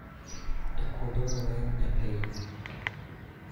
E kuonde mang�eny e piny,